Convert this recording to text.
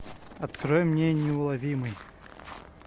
открой мне неуловимый